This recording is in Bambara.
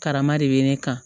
Karama de bɛ ne kan